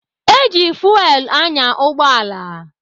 Eji fuwel anya ụgbọala.